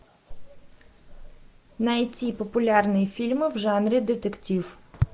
найти популярные фильмы в жанре детектив